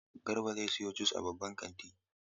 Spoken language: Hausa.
Garba zai siyo jus a babban kanti.